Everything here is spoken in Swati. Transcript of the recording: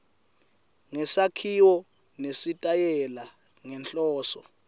ngesakhiwo nesitayela ngenhloso